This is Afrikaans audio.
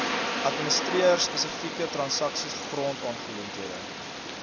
administreer spesifieke transaksiegrondaangeleenthede